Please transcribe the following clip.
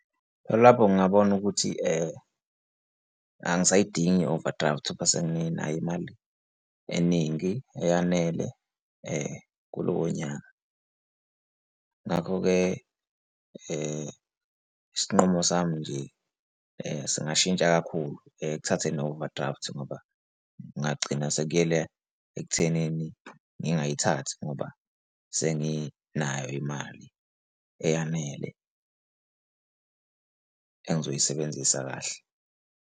Lapho ngabona ukuthi angisayidingi i-overdraft bese nginayo imali eningi eyanele kulowo nyaka. Ngakho-ke isinqumo sami nje singashintsha kakhulu, kuthathe no-overdraft ngoba ngagcina sekuyele ekuthenini ngingayithathi ngoba senginayo imali eyanele engizoyisebenzisa kahle.